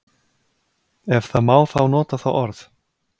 Ef það má þá nota það orð.